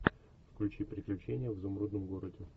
включи приключения в изумрудном городе